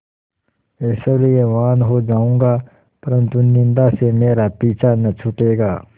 ऐश्वर्यवान् हो जाऊँगा परन्तु निन्दा से मेरा पीछा न छूटेगा